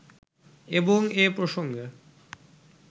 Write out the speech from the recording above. এবং এ প্রসঙ্গে